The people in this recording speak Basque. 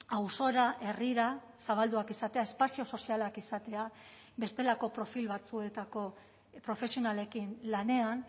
auzora herrira zabalduak izatea espazio sozialak izatea bestelako profil batzuetako profesionalekin lanean